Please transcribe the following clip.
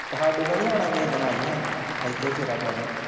ਸਾਡੇ ਕੋਲ ਨਹੀਂ ਆਉਣ ਕਿਸੇ ਦਿਨ ਆਜੀ ਖਾਂ ਐਥੇ ਫੇਰਾ ਪਾ ਜੀ